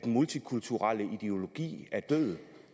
multikulturelle ideologi er død